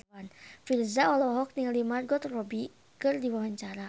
Virzha olohok ningali Margot Robbie keur diwawancara